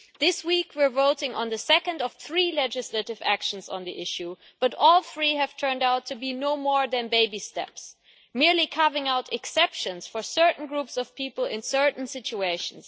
This week we are voting on the second of three legislative actions on the issue, but all three have turned out to be no more than baby steps, merely carving out exceptions for certain groups of people in certain situations.